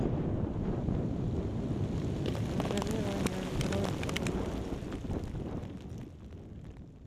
программирование андроид аудиокнига